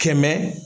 Kɛmɛ